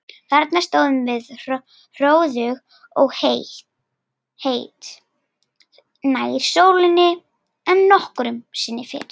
Þarna stóðum við hróðug og heit, nær sólinni en nokkru sinni fyrr.